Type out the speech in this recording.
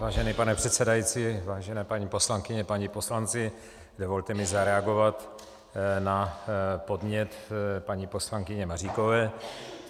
Vážený pane předsedající, vážené paní poslankyně, páni poslanci, dovolte mi zareagovat na podnět paní poslankyně Maříkové.